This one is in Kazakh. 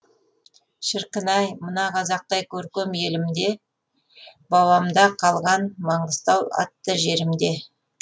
шіркін ай мына қазақтай көркем елімде бабамда қалған маңғыстау атты жерімде